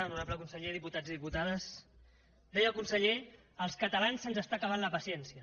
honorable conseller diputats i diputades deia el conseller als catalans se’ns acaba la paciència